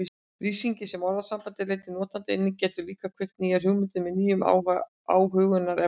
Lýsingin sem orðasambandið leiddi notandann inn í getur líka kveikt nýjar hugmyndir með nýjum athugunarefnum.